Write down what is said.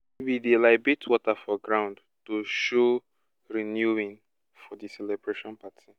we dey libate water for ground to show renewing for di celebration party